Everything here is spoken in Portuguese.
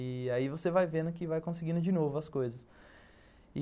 E aí você vai vendo que vai conseguindo de novo as coisas.